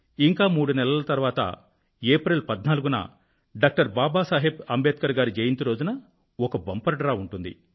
ఇంకా మూడు నెలల తరువాత ఏప్రిల్ 14వ తేదీన డాక్టర్ బాబా సాహెబ్ అంబేడ్కర్ గారి జయంతి రోజున ఒక బంపర్ డ్రా ఉంటుంది